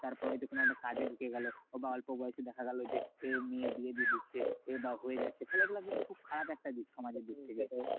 তারপর হয়তো কোনো কাজে ঢুকে গেলো। বা অল্প বয়সে দেখা গেলো যে, মেয়ের বিয়ে দিয়ে দিচ্ছে বা হয়ে যাচ্ছে। তাহলে এগুলো কিন্তু খুব খারাপ একটা দিক সমাজের দিক থেকে।